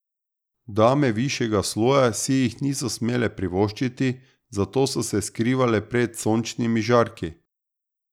Dame višjega sloja si jih niso smele privoščiti, zato so se skrivale pred sončnimi žarki.